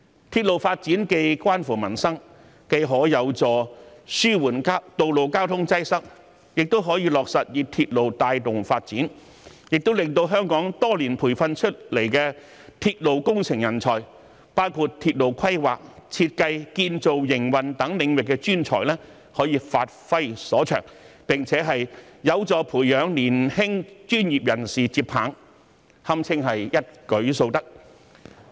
鐵路發展與民生息息相關，既有助紓緩道路交通擠塞，又可落實以鐵路帶動發展，令香港多年培訓出來的鐵路工程人才，包括鐵路規劃、設計、建造、營運等領域的專才，可以發揮所長，並且有助培養年輕專業人士接棒，堪稱一舉數得。